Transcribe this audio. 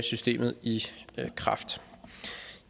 systemet i kraft